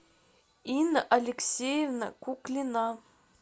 инна алексеевна куклина